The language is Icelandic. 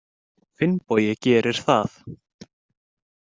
Finnbogi gerir það.